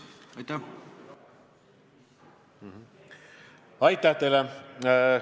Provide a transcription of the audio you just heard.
Aitäh teile!